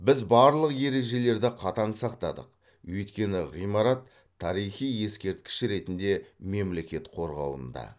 біз барлық ережелерді қатаң сақтадық өйткені ғимарат тарихи ескерткіш ретінде мемлекет қорғауында